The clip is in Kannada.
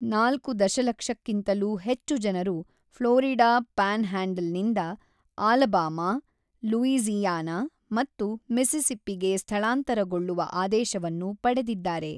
ನಾಲ್ಕು ದಶಲಕ್ಷಕ್ಕಿಂತಲೂ ಹೆಚ್ಚು ಜನರು‌ ಫ್ಲೋರಿಡಾ ಪ್ಯಾನ್‌ಹ್ಯಾಂಡಲ್‌ನಿಂದ ಆಲಬಾಮಾ, ಲೂಯೀಜಿ಼ಯಾನ ಮತ್ತು ಮಿಸ್ಸಿಸ್ಸಿಪ್ಪಿಗೆ ಸ್ಥಳಾಂತರಗೊಳ್ಳುವ ಆದೇಶವನ್ನು ಪಡೆದಿದ್ದಾರೆ.